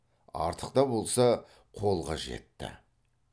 артық та болса қолға жетті